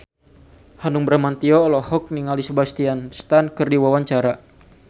Hanung Bramantyo olohok ningali Sebastian Stan keur diwawancara